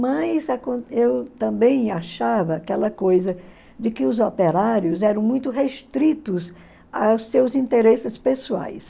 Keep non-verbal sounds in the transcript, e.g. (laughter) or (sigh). Mas (unintelligible) eu também achava aquela coisa de que os operários eram muito restritos aos seus interesses pessoais.